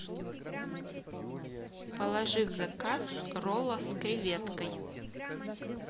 положи в заказ ролла с креветкой